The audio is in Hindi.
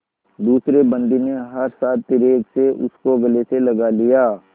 दूसरे बंदी ने हर्षातिरेक से उसको गले से लगा लिया